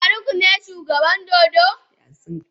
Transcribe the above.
Faruk ne shugaban dodo?